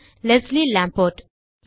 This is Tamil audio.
Leslie Lombard